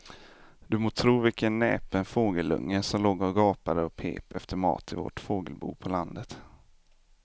Du må tro vilken näpen fågelunge som låg och gapade och pep efter mat i vårt fågelbo på landet.